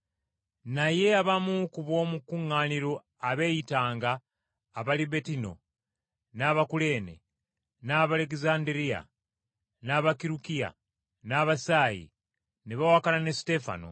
Naye abamu ku b’omu kuŋŋaaniro abeeyitanga Abalibettino, n’Abakuleene n’Abalegezanderiya, n’Abakirukiya n’Abasiya, ne bawakana ne Suteefano.